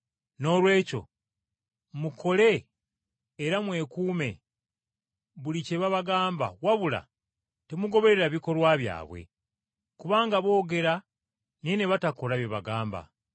Noolwekyo mukole era mwekuume buli kye babagamba wabula temugoberera bikolwa byabwe. Kubanga boogera naye ne batakola bye bagamba.